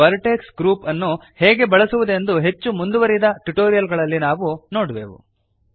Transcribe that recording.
ಈ vertex groups ಅನ್ನು ಹೇಗೆ ಬಳಸುವುದೆಂದು ಹೆಚ್ಚು ಮುಂದುವರೆದ ಟ್ಯುಟೋರಿಯಲ್ ಗಳಲ್ಲಿ ನಾವು ನೋಡುವೆವು